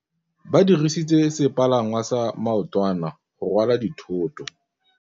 Ba dirisitse sepalangwasa maotwana go rwala dithôtô.